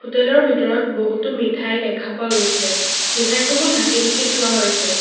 Hotel ৰ ভিতৰত বহুতো মিঠাই দেখা পোৱা গৈছে মিঠাই সমূহ ঢাকি ঢাকি থোৱা হৈছে।